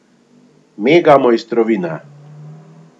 Mega mojstrovina.